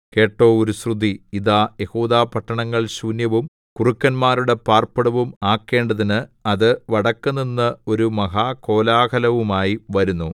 കേട്ടോ ഒരു ശ്രുതി ഇതാ യെഹൂദപട്ടണങ്ങൾ ശൂന്യവും കുറുക്കന്മാരുടെ പാർപ്പിടവും ആക്കേണ്ടതിന് അത് വടക്കുനിന്ന് ഒരു മഹാകോലാഹലവുമായി വരുന്നു